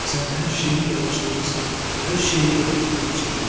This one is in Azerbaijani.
Sən hər şeyi qarışdırırsan, hər şeyi qatıb-qarışdırdın.